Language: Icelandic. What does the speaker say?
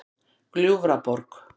Gljúfraborg